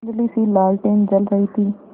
धुँधलीसी लालटेन जल रही थी